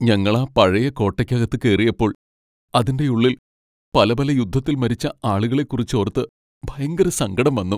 ഞങ്ങളാ പഴയ കോട്ടയ്ക്കകത്ത് കേറിയപ്പോൾ അതിന്റെയുള്ളിൽ പല പല യുദ്ധത്തിൽ മരിച്ച ആളുകളെക്കുറിച്ചോർത്ത് ഭയങ്കര സങ്കടം വന്നു.